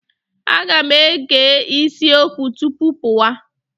Aga m ege isi okwu tupu pụwa.